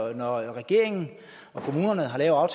at når regeringen og kommunerne har lavet